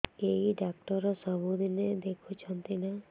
ଏଇ ଡ଼ାକ୍ତର ସବୁଦିନେ ଦେଖୁଛନ୍ତି ନା